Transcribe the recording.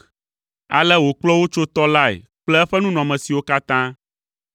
Ale wòkplɔ wo tso tɔ lae kple eƒe nunɔamesiwo katã.